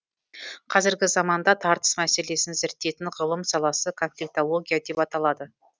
қазіргі заманда тартыс мәселесін зерттейтін ғылым саласы конфликтология деп аталады